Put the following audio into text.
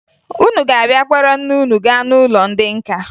Unu ga-abịa kpọrọ nne unu gaa n'ụlọ ndị nka